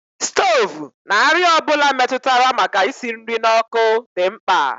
Stovu na àrịá ọ bụla metụtara maka isi nri n'ọkụ dị mkpa